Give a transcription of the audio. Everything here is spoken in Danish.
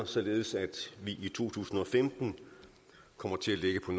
således at vi i to tusind og femten kommer til at ligge på